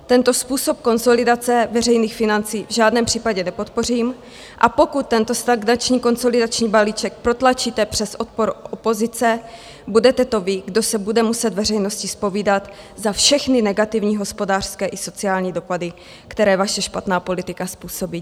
Tento způsob konsolidace veřejných financí v žádném případě nepodpořím, a pokud tento stagnační konsolidační balíček protlačíte přes odpor opozice, budete to vy, kdo se bude muset veřejnosti zpovídat za všechny negativní hospodářské i sociální dopady, které vaše špatná politika způsobí.